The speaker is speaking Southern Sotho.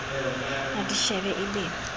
a di shebe e be